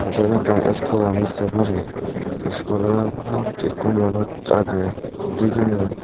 iben ekkan school ami sey parir schoolanot ikko manuj agey thigeney.